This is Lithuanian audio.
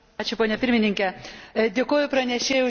Dėkoju pranešėjui už įdomų pranešimą.